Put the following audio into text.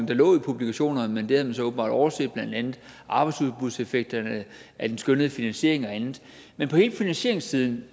der lå i publikationerne men det havde man så åbenbart overset blandt andet arbejdsudbudseffekterne af den skønnede finansiering og andet men på hele finansieringssiden